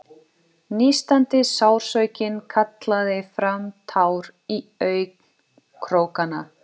Nístandi sársaukinn kallaði fram tár í augnkrókana.